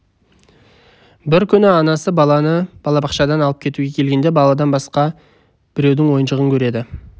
бір күні анасы баланы балабақшадан алып кетуге келгенде баладан басқа біреудің ойыншығын көреді